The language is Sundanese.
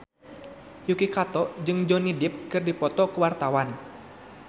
Yuki Kato jeung Johnny Depp keur dipoto ku wartawan